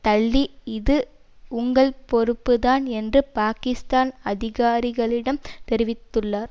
தள்ளி இது உங்கள் பொறுப்புத்தான் என்று பாக்கிஸ்தான் அதிகாரிகளிடம் தெரிவித்துள்ளார்